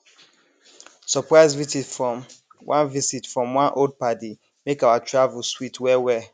surprise visit from one visit from one old paddy make our travel sweet well well